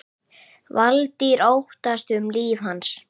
Valtýr: Óttaðist um líf hans?